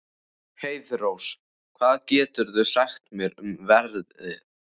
Heiðrós, hvað geturðu sagt mér um veðrið?